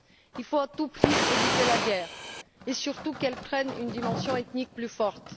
Il faut à tout prix éviter la guerre et surtout qu'elle prenne une dimension ethnique plus forte.